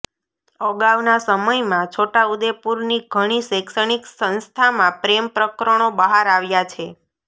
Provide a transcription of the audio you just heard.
અગાઉના સમયમાં છોટાઉદેપુરની ઘણી શૈક્ષણિક સંસ્થામાં પ્રેમ પ્રકરણો બહાર આવ્યા છે